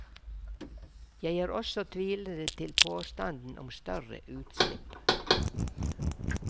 Jeg er også tvilende til påstanden om større utslipp.